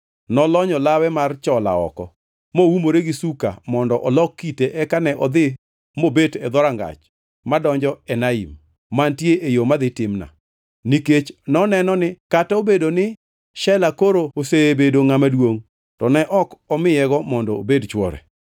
nolonyo lawe mar chola oko, moumore gi suka mondo olok kite eka ne odhi mobet e dhorangach madonjo Enaim, mantie e yo madhi Timna. Nikech noneno ni kata obedo ni Shela koro osebedo ngʼama duongʼ, to ne ok omiyego mondo obed chwore.